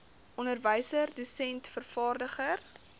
onderwyser dosent vervaardiger